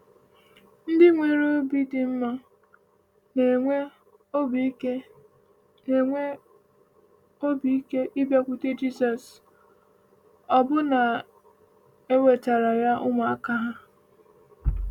Ndị nwere obi dị mma na-enwe obi ike na-enwe obi ike ịbịakwute Jizọs, ọbụna na-ewetara ya ụmụaka ha.